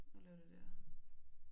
Og lave det der